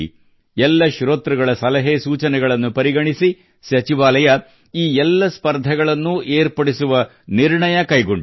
ಎಲ್ಲ ಶ್ರೋತೃಗಳ ಸಲಹೆ ಸೂಚನೆಗಳನ್ನು ಪರಿಗಣಿಸಿ ಸಚಿವಾಲಯ ಈ ಎಲ್ಲ ಸ್ಪರ್ಧೆಗಳನ್ನು ಏರ್ಪಡಿಸುವ ನಿರ್ಣಯ ಕೈಗೊಂಡಿದೆ